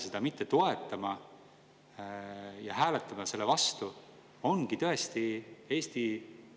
Näiteks kaubandus-tööstuskoda esitas konkreetse ettepaneku ära jätta 1. juuli 2025. aasta tõus ja ülejäänute puhul täiendavalt analüüsida, teha pikaajalisi mõjuanalüüse, mis edasi saab.